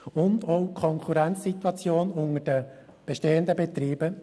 Sie beleben zudem auch die Konkurrenzsituation unter den bestehenden Betrieben.